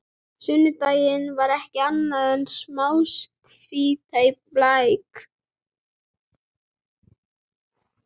Sundlaugin var ekki annað en smástífla í læk.